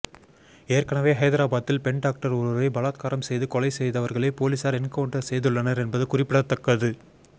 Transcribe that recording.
ஏற்கனவே ஹைதராபாத்தில் பெண் டாக்டர் ஒருவரை பலாத்காரம் செய்து கொலை செய்தவர்களை போலீசார் என்கவுண்டர் செய்துள்ளனர் என்பது குறிப்பிடத்தக்கது